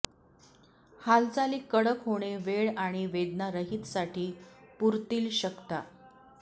हालचाली कडक होणे वेळ आणि वेदनारहित साठी पुरतील शकता